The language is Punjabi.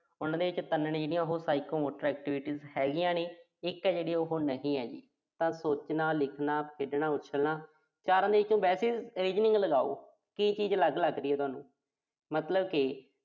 ਇਨ੍ਹਾ ਦੇ ਵਿੱਚੋਂ ਤਿੰਨ ਨੇ ਜਿਹੜੀਆਂ ਉਹੋ Psychomotor activities ਹੈਗੀਆਂ ਨੇ। ਇੱਕ ਆ ਜਿਹੜੀ ਉਹੋ ਨਹੀਂ ਹੈਗੀ। ਤਾਂ ਸੋਚਣਾ, ਲਿਖਣਾ, ਖੇਡਣਾ, ਉਛਲਣਾ। ਚਾਰਾਂ ਦੇ ਵਿੱਚੋਂ ਵੈਸੇ ਹੀ ਲਗਾਓ। ਕੀ ਚੀਜ਼ ਅਲੱਗ ਲੱਗ ਰਹੀ ਆ ਤੁਹਾਨੂ। ਮਤਲਬ ਕਿ